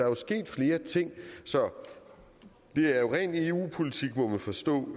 jo sket flere ting det er jo ren eu politik må man forstå når